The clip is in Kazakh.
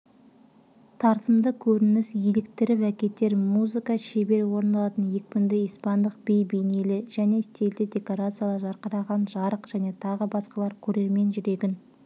тартымды көрініс еліктіріп әкетер музыка шебер орындалатын екпінді испандық би бейнелі және стильді декорациялар жарқыраған жарық және тағы басқалары көрермен жүрегін